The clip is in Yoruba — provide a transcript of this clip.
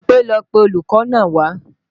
Bímpé ló pe olùkọ́ náà wá